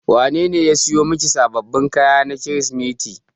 Wanene ya siyo miki sababbin kaya na Kirsimeti.